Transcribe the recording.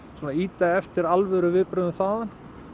ýta eftir alvöru viðbrögðum þaðan